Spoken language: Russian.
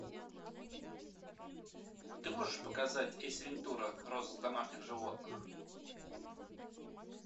ты можешь показать эйс вентура розыск домашних животных